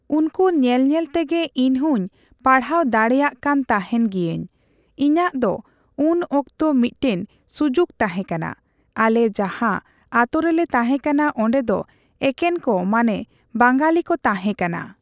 ᱩᱱᱠᱩ ᱧᱮᱞᱼᱧᱮᱞ ᱛᱮᱜᱮ ᱤᱧᱦᱚᱧ ᱯᱟᱲᱦᱟᱣ ᱫᱟᱲᱮᱜ ᱠᱟᱱ ᱛᱟᱦᱮᱱ ᱜᱤᱭᱟᱹᱧ᱾ ᱤᱧᱟᱹᱜ ᱫᱚ ᱩᱱ ᱚᱠᱛᱚ ᱢᱤᱫᱴᱟᱝ ᱥᱩᱡᱩᱠ ᱛᱟᱦᱮᱸᱠᱟᱱᱟ᱾ ᱟᱞᱮ ᱡᱟᱦᱟᱸ ᱟᱛᱳ ᱨᱮᱞᱮ ᱛᱟᱦᱮᱸᱠᱟᱱᱟ ᱚᱸᱰᱮ ᱫᱚ ᱮᱠᱮᱱ ᱠᱚ ᱢᱟᱱᱮ ᱵᱟᱝᱜᱟᱞᱤ ᱠᱚ ᱛᱟᱦᱮᱸ ᱠᱟᱱᱟ᱾